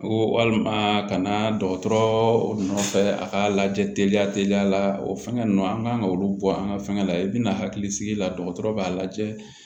Ko walima ka na dɔgɔtɔrɔ nɔfɛ a ka lajɛ teliya teliya la o fɛngɛ ninnu an kan ka olu bɔ an ka fɛnkɛ la i bɛna hakili sigi la dɔgɔtɔrɔ b'a lajɛ